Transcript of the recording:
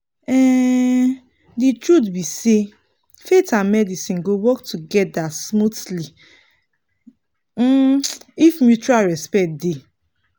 um the truth be sayfaith and medicine go work together smoothly um if mutual respect dey.